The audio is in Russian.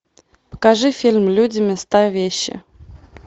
покажи фильм люди места вещи